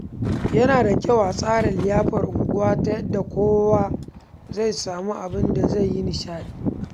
Yana da kyau a tsara liyafar unguwa ta yadda kowa zai samu abin da zai yi nishaɗi.